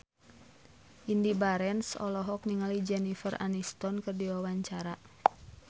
Indy Barens olohok ningali Jennifer Aniston keur diwawancara